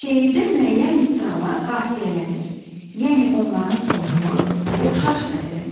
Şeirdə müəyyən misralar qafiyələnir, yəni onların sonluğu oxşar səslənir.